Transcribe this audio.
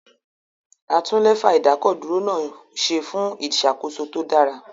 A tún Lẹ́fà ìdákọ̀dúró náà ṣe fún ìṣàkóso tó dára